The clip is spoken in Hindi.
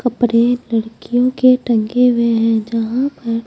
कपड़े लड़कियों के टंगे हुए हैं जहां पर--